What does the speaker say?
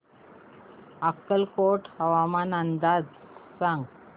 अक्कलकोट हवामान अंदाज सांग